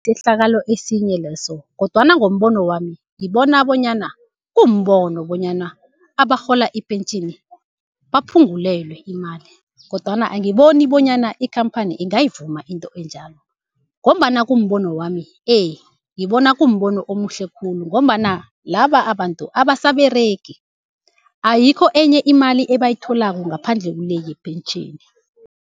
Sisehlakalo esinye leso kodwana ngombono wami ngibona bonyana kumbono bonyana abarhola ipentjheni baphungulelwe imali, kodwana angiboni bonyana ikhamphani ingayivuma into enjalo. Ngombana kumbono wami ngibona kumbono omuhle khulu, ngombana laba abantu abasaberegi ayikho enye imali ebayitholako ngaphandle kule yepentjheni.